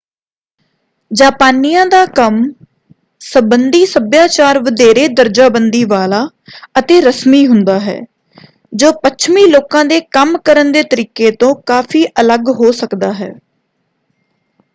ਜਾਪਾਨੀਆਂ ਦਾ ਕੰਮ ਸੰਬੰਧੀ ਸਭਿਆਚਾਰ ਵਧੇਰੇ ਦਰਜਾਬੰਦੀ ਵਾਲਾ ਅਤੇ ਰਸਮੀ ਹੁੰਦਾ ਹੈ ਜੋ ਪੱਛਮੀ ਲੋਕਾਂ ਦੇ ਕੰਮ ਕਰਨ ਦੇ ਤਰੀਕੇ ਤੋਂ ਕਾਫ਼ੀ ਅਲੱਗ ਹੋ ਸਕਦਾ ਹੈ।